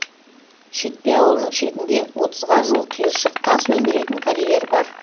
шетпе ауылының шетінде отызға жуық қиыршық тас өндіретін карьер бар